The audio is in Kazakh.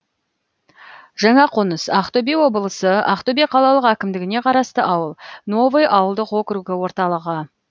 жаңақоныс ақтөбе облысы ақтөбе қалалық әкімдігіне қарасты ауыл новый ауылдық округі орталығы